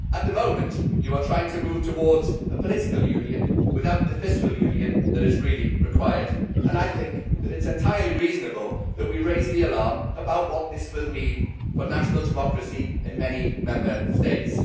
At the moment you are trying to move towards a political union without the fiscal union that is really required, and I think that it is entirely reasonable that we should raise the alarm about what this will mean for national democracy in many Member States.